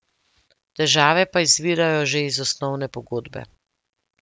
Težave pa izvirajo že iz osnovne pogodbe.